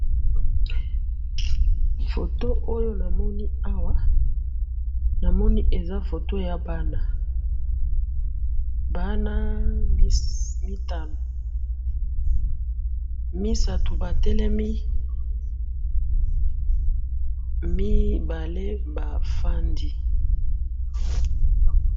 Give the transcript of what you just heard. Foto oyo namoni awa, namoni eza foto yabana, bana mitano, misatu batelemi, mibale bafandi